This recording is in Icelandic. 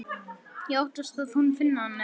Ég óttast að hún finni hann ekki.